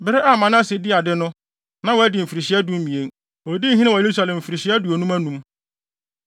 Bere a Manase dii ade no, na wadi mfirihyia dumien. Odii hene wɔ Yerusalem mfirihyia aduonum anum.